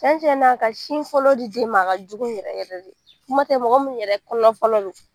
Cɛn cɛn na ka sin fɔlɔ di den ma a ka jugu yɛrɛ yɛrɛ de kuma tɛ mɔgɔ mun yɛrɛ kɔnɔ fɔlɔ don.